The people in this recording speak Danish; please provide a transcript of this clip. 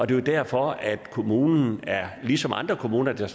det er derfor at kommunen ligesom andre kommuner der